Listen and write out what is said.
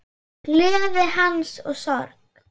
Gleði hans og sorg.